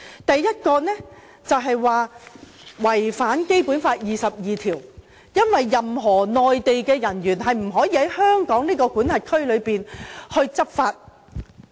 第一，就是指"一地兩檢"違反了《基本法》第二十二條，因為任何內地人員也不可以在香港管轄區執法。